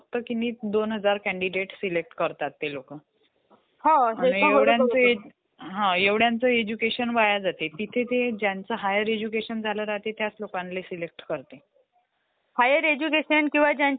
आपण तर ह्यांच्यामध्ये जसं कॉम्प्युटर म्हटलं तर आपण ह्यांच्यामध्ये एखादं मला वर्ड्स मध्ये एक लेटर बनवायचं आहे त्याच मला प्रिन्सिपलला, मी जर एज्युकेशन घेत आहे तर मला प्रिन्सिपलला द्यायचं आहे तर वर्ड्समध्ये तर ईज़ीली टाईप करू शकतो.